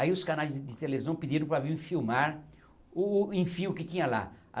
Aí os canais de televisão pediram para vir filmar o, enfim, o que tinha lá.